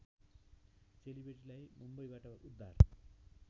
चेलीबेटीलाई मुम्बईबाट उद्धार